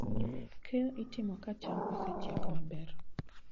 Keyo itimo ka cham osechiek maber.